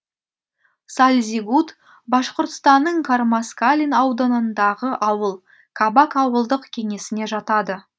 сальзигут башқұртстанның кармаскалин ауданындағы ауыл кабак ауылдық кеңесіне жатады